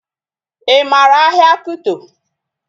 Ị maara ahịa Kuto?